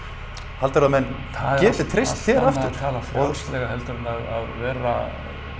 heldurðu að menn geti treyst þér aftur tala frjálslega heldur en að vera